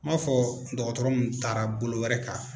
N m'a fɔ dɔgɔtɔrɔ mun taara bolo wɛrɛ kan.